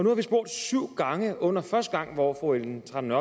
har vi spurgt syv gange under første runde hvor fru ellen trane